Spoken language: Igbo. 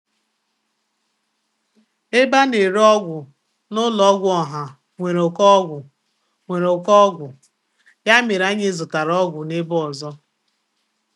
Ebe a na-ere ọgwụ n'ụlọ ọgwụ ọha enweghị ngwaahịa, n'ihi ya, anyị zụtara ọgwụ n'ebe ọzọ.